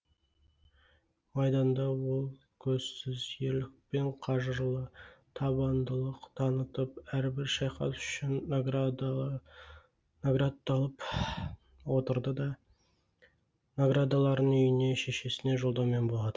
майданда ол көзсіз ерлік пен қажырлы табандылық танытып әрбір шайқас үшін наградталып отырады да наградаларын үйіне шешесіне жолдаумен болады